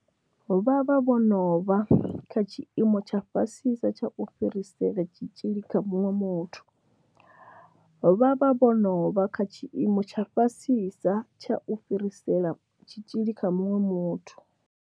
Vha vha vho no vha kha tshiimo tsha fhasisa tsha u fhirisela tshitzhili kha muṅwe muthu. Vha vha vho no vha kha tshiimo tsha fhasisa tsha u fhirisela tshitzhili kha muṅwe muthu.